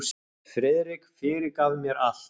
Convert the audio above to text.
Friðrik fyrirgaf mér allt.